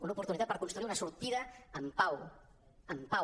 una opor·tunitat per construir una sortida en pau en pau